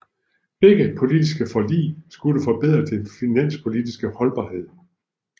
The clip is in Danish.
Begge politiske forlig skulle forbedre den finanspolitiske holdbarhed